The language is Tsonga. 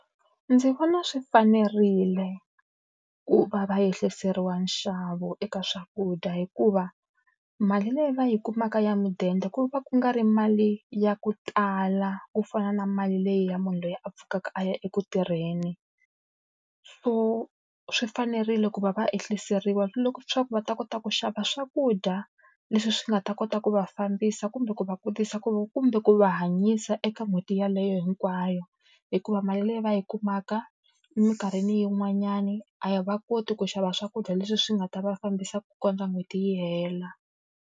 Ndzi vona swi fanerile ku va va ehliseriwa nxavo eka swakudya hikuva mali leyi va yi kumaka ya mudende ku va ku nga ri mali ya ku tala ku fana na mali leyi ya munhu loyi a pfukaka a ya eku tirheni. So swi fanerile ku va va ehliseriwa swa ku va ta kota ku xava swakudya leswi swi nga ta kota ku va fambisa kumbe ku va ku kumbe ku va hanyisa eka n'hweti yeleyo hinkwayo. Hikuva mali leyi va yi kumaka eminkarhini yin'wanyani, a va koti ku xava swakudya leswi swi nga ta va fambisa ku kondza n'hweti yi hela.